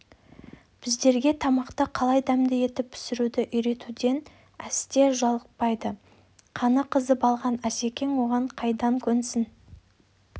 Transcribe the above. біздерге тамақты қалай дәмді етіп пісіруді үйретуден әсте жалықпайды қаны қызып алған асекең оған қайдан көнсін